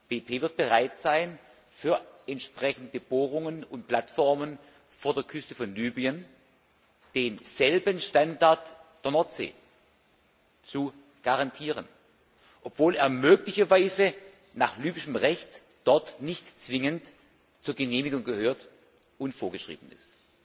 BP wird bereit sein, bei entsprechenden Bohrungen und Plattformen vor der Küste von Libyen denselben Standard wie in der Nordsee zu garantieren, obwohl er möglicherweise nach libyschem Recht dort nicht zwingend zur Genehmigung gehört und vorgeschrieben ist.